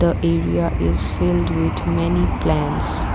the area is filled with many plants.